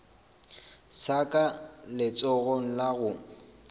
sa ka letsogong la go